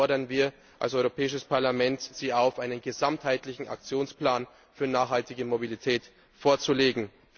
Deshalb fordern wir als Europäisches Parlament Sie auf, einen gesamtheitlichen Aktionsplan für nachhaltige Mobilität vorzulegen.